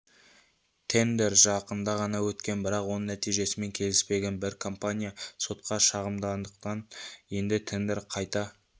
тендер жақында ғана өткен бірақ оның нәтижесімен келіспеген бір компания сотқа шағымданғандықтан енді тендер қайта